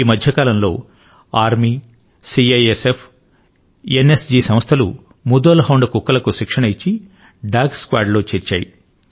ఈ మధ్యకాలం లో సైన్యం సిఐఎస్ఎఫ్ ఎన్ఎస్జి సంస్థలు ముధోల్ హౌండ్ కుక్కలకు శిక్షణ ఇచ్చి డాగ్ స్క్వాడ్ లో చేర్చాయి